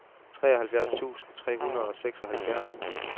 treoghalvfjerds tusind tre hundrede og seksoghalvfjerds